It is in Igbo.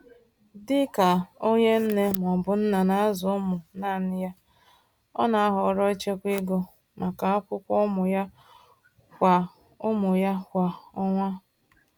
Dị ka onye nne/nna na-azụ ụmụ naanị ya, ọ na-ahọrọ ichekwa ego maka akwụkwọ ụmụ ya kwa ụmụ ya kwa ọnwa.